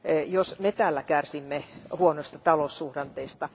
jos me täällä kärsimme huonoista taloussuhdanteista.